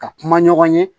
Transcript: Ka kuma ɲɔgɔn ye